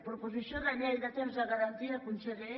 proposició de llei de temps de garantia conseller